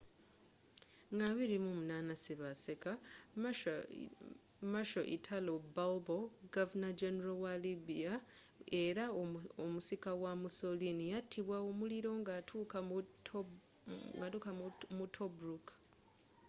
nga 28 ssebaseka marshal italo balbo governor-generalwa libya era omusika wa mussoliniyatibwa omuliro nga atuuka mu tobruk